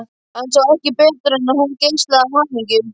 Hann sá ekki betur en að hún geislaði af hamingju.